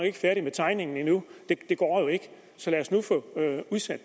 ikke færdig med tegningen endnu det går jo ikke så lad os nu få